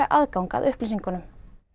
aðgang að upplýsingunum